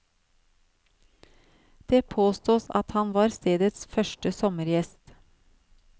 Det påstås at han var stedets første sommergjest.